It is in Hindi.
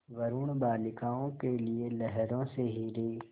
वरूण बालिकाओं के लिए लहरों से हीरे